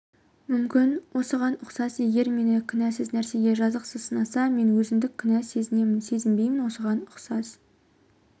мүмкін осыған ұқсас егер мені кінәсіз нәрсеге жазықсыз сынаса мен өзіндік кінә сезімін сезінбеймін осыған ұқсас